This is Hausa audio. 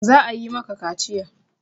Za a yi maka kaciya!